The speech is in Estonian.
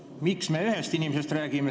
Miks me antud juhul räägime ühest inimesest?